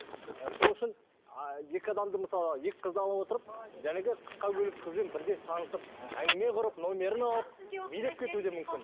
і сол үшін ы екі адамды мысалы екі қызды ала отырып қысқа көйлекті қызбен бірден танысып әңгіме құрып номерін алып билеп кетуі де мүмкін